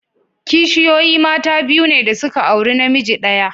Kishiyoyi mata biyu ne da suka auri namiji daya.